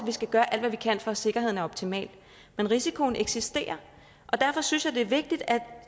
skal gøre alt hvad vi kan for at sikkerheden er optimal men risikoen eksisterer og derfor synes jeg det er vigtigt at